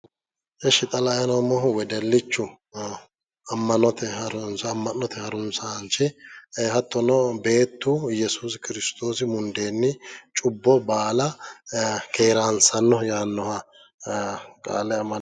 esh xa la'ayi noommohu wedellichu amma'note harunsaanchi hattono beettu YESUUSI KIRISITOOSI mundeenni cubbo baala keeraansannoho yaannoha qaale amade..